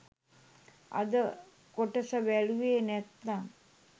අද කොටස බැලුවේ නැත්නම්